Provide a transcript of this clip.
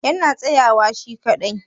yana tsayawa shi kaɗai?